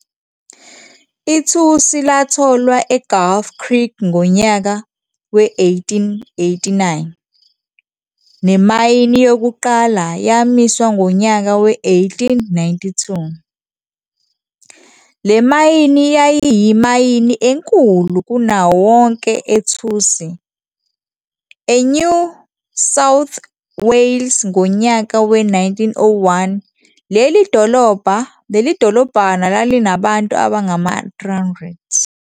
Ithusi latholwa eGulf Creek ngonyaka we-1889 nemayini yokuqala yamiswa ngonyaka we-1892. Le mayini yayiyimayini enkulu kunawo wonke ethusi eNew South Wales ngonyaka we-1901 leli dolobhana lalinabantu abangama-300.